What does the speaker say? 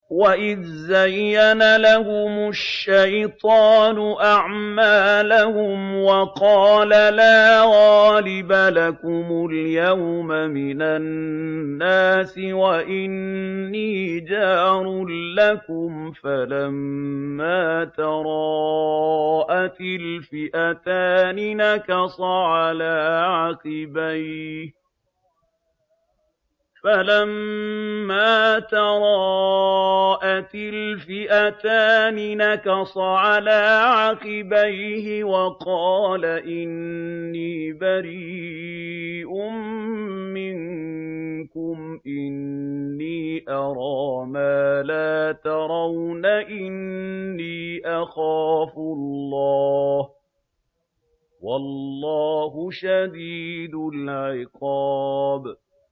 وَإِذْ زَيَّنَ لَهُمُ الشَّيْطَانُ أَعْمَالَهُمْ وَقَالَ لَا غَالِبَ لَكُمُ الْيَوْمَ مِنَ النَّاسِ وَإِنِّي جَارٌ لَّكُمْ ۖ فَلَمَّا تَرَاءَتِ الْفِئَتَانِ نَكَصَ عَلَىٰ عَقِبَيْهِ وَقَالَ إِنِّي بَرِيءٌ مِّنكُمْ إِنِّي أَرَىٰ مَا لَا تَرَوْنَ إِنِّي أَخَافُ اللَّهَ ۚ وَاللَّهُ شَدِيدُ الْعِقَابِ